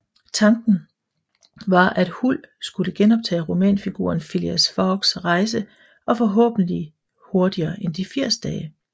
Tanken var at Huld skulle gentage romanfiguren Phileas Foggs rejse og forhåbentlig hurtigere end de 80 dage